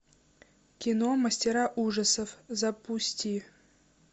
кино мастера ужасов запусти